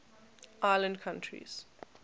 island countries